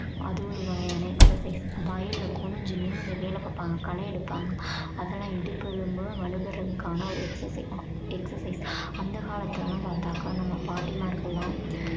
அது ஒரு வகையான exercise வயல்ல குனிஞ்சு நிமிர்ந்து வேலை பார்ப்பாங்க களை எடுப்பாங்க அதெல்லாம் இடுப்பு எலும்பு வலு பெறுவதற்கான ஒரு exercise exercise அந்த காலத்துல எல்லாம் பார்த்தாக்கா நம்ம பாட்டிமார்கள் எல்லாம்